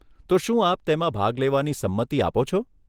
તો શું આપ તેમાં ભાગ લેવાની સંમતિ આપો છો?